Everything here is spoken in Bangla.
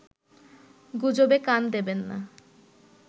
গুজবে কান দেবেন না